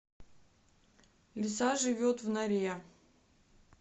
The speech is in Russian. лиса живет в норе